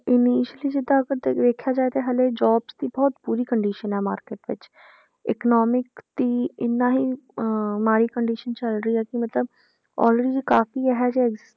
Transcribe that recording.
Initially ਜਿੱਦਾਂ ਅੱਪਾ ਵੇਖਿਆ ਜਾਏ ਤਾਂ ਹਾਲੇ jobs ਦੀ ਬਹੁਤ ਬੁਰੀ condition ਆਂ market ਵਿੱਚ economic ਦੀ ਇੰਨਾ ਹੀ ਅਹ ਮਾੜੀ condition ਚੱਲ ਰਹੀ ਹੈ ਕਿ ਮਤਲਬ already ਕਾਫ਼ੀ